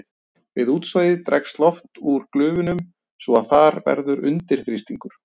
Við útsogið dregst loft úr glufunum svo að þar verður undirþrýstingur.